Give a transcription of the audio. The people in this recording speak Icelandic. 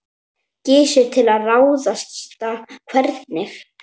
Gissur: Til að ráðstafa hvernig?